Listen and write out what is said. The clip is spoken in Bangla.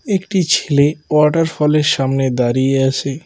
একটি ছেলে ওয়াটার ফলের সামনে দাঁড়িয়ে আছে।